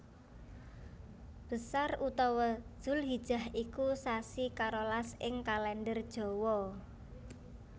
Besar utawa Dzulhijah iku sasi karolas ing Kalèndher Jawa